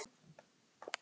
Gleði, húmor og líf.